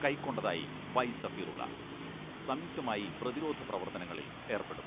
കൈക്കൊണ്ടതായി Y Safirulla സംയുക്തമായി പ്രതിരോധ പ്രവർത്തനങ്ങളിൽ ഏർപ്പെടും.